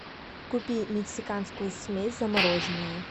купи мексиканскую смесь замороженную